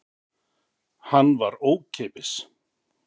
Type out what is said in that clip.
Hann var ókeypis.